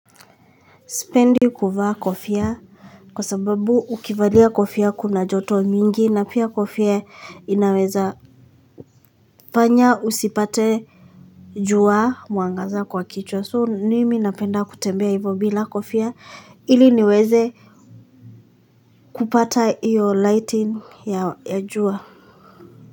Sipendi kuvaa kofia kwa sababu ukivalia kofia kuna joto nyingi na pia kofia inaweza fanya usipate jua mwangaza kwa kichwa soo mimi napenda kutembea hivyo bila kofia ili niweze kupata iyo lighting ya ya jua.